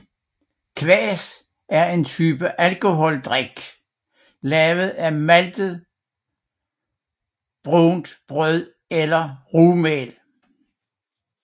Kvas er en type alkoholfri drik lavet af maltet brunt brød eller rugmel